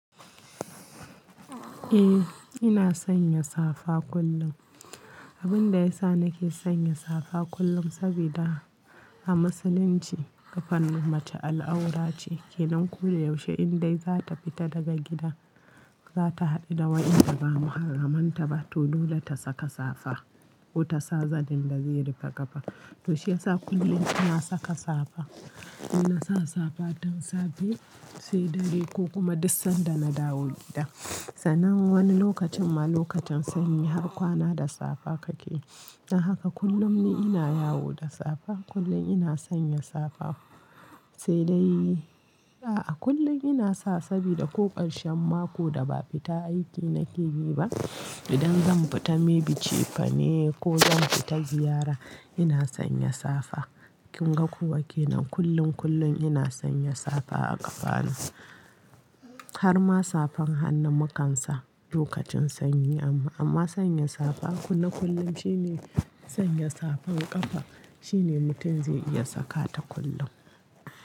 Eh ina sanya safa kullum. Abin da yasa nake sanya safa kullum sabida a musulunci ƙafan mace al'aura ce. Kenan ko da yaushe in dai za ta fita daga gida, za ta haɗu da wanda ba muharramanta ba, to dole ta saka safa ko ta sa zanin da zai rufe ƙafa. To shi yasa kullum ina saka safa. Ina sa safa don safe, sai dare ko kuma duk sanda na dawo gida. Sanan wani lokacin ma lokacin sanyi har kwana da safa kake. Dan haka kullum ni ina yawo da safa. Kullum ina sanya safa. Sai dai a'a kullum ina sa sabida ko ƙarshen mako da ba a fita aiki nake yi ba, idan zan fita maybe cefane ko zan fita ziyara ina sanya safa. Kin ga kuwa kenan kullum, kullum ina sanya safa a ƙafanu. Har ma safan hannu mu kan sa lokacin sanyi amma, amma sanya safa kullum kullum shine sanya safan ƙafa shine mutum zai iya saka ta kullum.